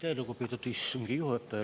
Aitäh, lugupeetud istungi juhataja!